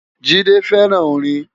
Jide fèrán órin